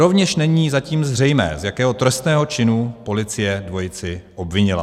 Rovněž není zatím zřejmé, z jakého trestného činu policie dvojici obvinila.